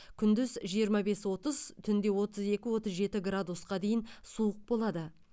күндіз жиырма бес отыз түнде отыз екі отыз жеті градусқа дейін суық болады